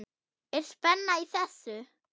Er spenna í þessu?